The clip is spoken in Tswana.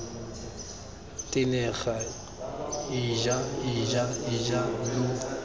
tenega ija ija ija lo